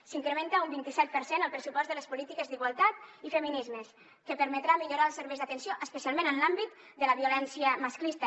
s’incrementa un vint i set per cent el pressupost de les polítiques d’igualtat i feminismes que permetrà millorar els serveis d’atenció especialment en l’àmbit de la violència masclista